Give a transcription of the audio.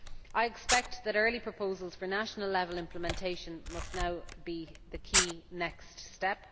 I expect that early proposals for national level implementation must now be the key next step.